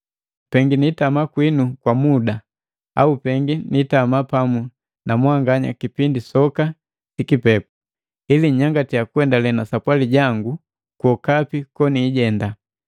Pengi niitama kwinu kwa muda au pengi nitama pamu na mwanganya kipindi soka sikipepu, ili nnyangatiya kuendale na sapwali jangu kwokapi koniijenda.